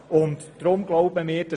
Diese Zahl stammt aus dem Jahr 2014.